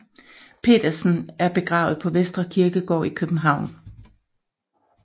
Pedersen er begravet på Vestre Kirkegård i København